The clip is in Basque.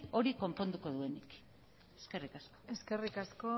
hori konponduko duenik eskerrik asko eskerrik asko